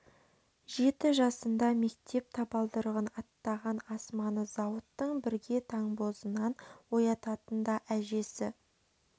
жеті жасында мектеп табалдырығын аттаған асманы зауыттың бірге таңбозынан оятатын да әжесі